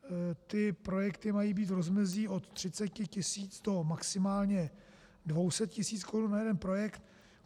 Ty projekty mají být v rozmezí od 30 tisíc do maximálně 200 tisíc korun na jeden projekt.